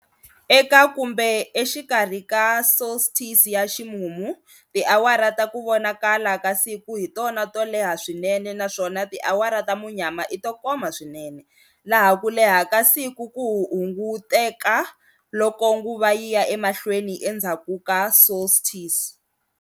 Eka kumbe exikarhi ka solstice ya ximumu, tiawara ta ku vonakala ka siku hi tona to leha swinene naswona tiawara ta munyama i to koma swinene, laha ku leha ka siku ku hunguteka loko nguva yi ya emahlweni endzhaku ka solstice.